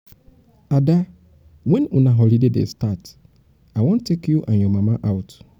ada wen una holiday dey start? i wan take you and your mama out.